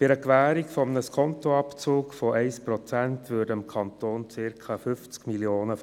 Bei einer Gewährung eines Skontoabzugs von 1 Prozent gingen dem Kanton Bern gemäss der Antwort des Regierungsrates ungefähr 50 Mio.